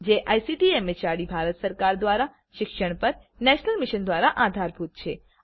જે ICT MHRD Bharat સરકાર દ્વારા શિક્ષણ પર નેશનલ મિશન દ્વારા આધારભૂત છે